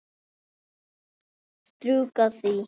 Strjúka því.